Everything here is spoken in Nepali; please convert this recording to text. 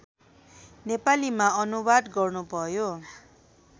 नेपालीमा अनुवाद गर्नुभयो